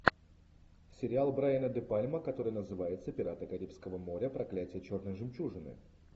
сериал брайана де пальма который называется пираты карибского моря проклятие черной жемчужины